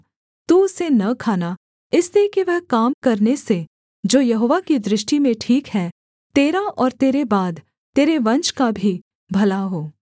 तू उसे न खाना इसलिए कि वह काम करने से जो यहोवा की दृष्टि में ठीक है तेरा और तेरे बाद तेरे वंश का भी भला हो